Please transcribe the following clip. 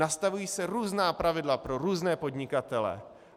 Nastavují se různá pravidla pro různé podnikatele.